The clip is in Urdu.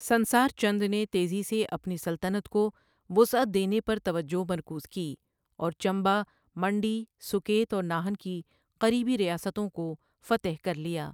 سنسار چند نے تیزی سے اپنی سلطنت کو وسعت دینے پر توجہ مرکوز کی اور چمبہ، منڈی، سوکیت اور ناہن کی قریبی ریاستوں کو فتح کر لیا۔